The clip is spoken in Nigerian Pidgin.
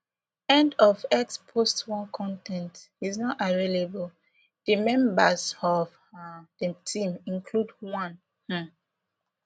end of x post one con ten t is not available di members of um di team include one um